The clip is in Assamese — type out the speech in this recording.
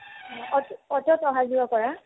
অট ~ অ'টোত অহা-যোৱা কৰা